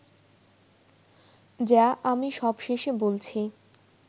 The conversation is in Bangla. যা আমি সবশেষে বলছি